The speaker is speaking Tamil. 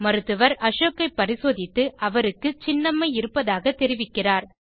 மருத்துவர் அசோக்கை பரிசோதித்து அவருக்கு சின்னம்மை இருப்பதாக தெரிவிக்கிறார்